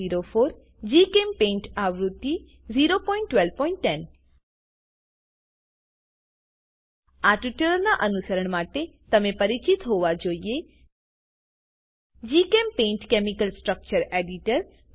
1204 GChemPaint આવૃત્તિ 01210 આ ટ્યુટોરીયલનાં અનુસરણ માટે તમે પરિચિત હોવા જોઈએ જીચેમ્પેઇન્ટ કેમિકલ સ્ટ્રક્ચર એડિટર